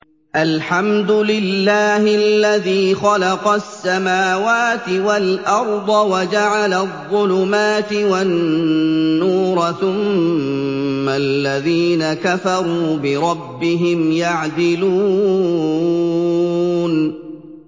الْحَمْدُ لِلَّهِ الَّذِي خَلَقَ السَّمَاوَاتِ وَالْأَرْضَ وَجَعَلَ الظُّلُمَاتِ وَالنُّورَ ۖ ثُمَّ الَّذِينَ كَفَرُوا بِرَبِّهِمْ يَعْدِلُونَ